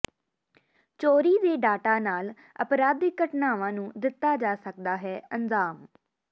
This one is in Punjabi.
ਚੋਰੀ ਦੇ ਡਾਟਾ ਨਾਲ ਅਪਰਾਧਿਕ ਘਟਨਾਵਾਂ ਨੂੰ ਦਿੱਤਾ ਜਾ ਸਕਦਾ ਹੈ ਅੰਜਾਮ